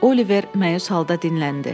Oliver məyus halda dinləndi.